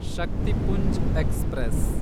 Shaktipunj express